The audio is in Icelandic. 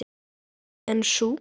En sú